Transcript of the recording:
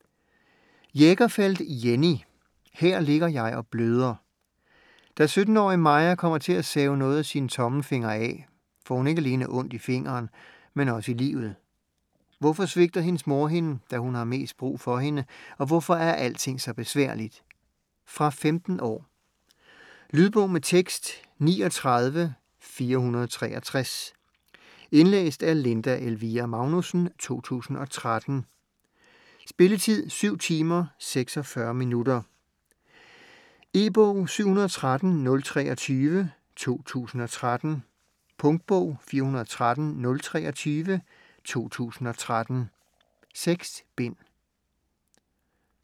Jägerfeld, Jenny: Her ligger jeg og bløder Da 17-årige Maja kommer til at save noget af sin tommelfinger af, får hun ikke alene ondt i fingeren, men også i livet. Hvorfor svigter hendes mor hende, da hun har mest brug for hende, og hvorfor er alting så besværligt? Fra 15 år. Lydbog med tekst 39463 Indlæst af Linda Elvira Magnussen, 2013. Spilletid: 7 timer, 46 minutter. E-bog 713023 2013. Punktbog 413023 2013. 6 bind.